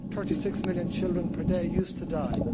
Thirty six million children per day used to die.